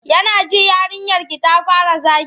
Ya na ji yarinyarki ta fara zagi?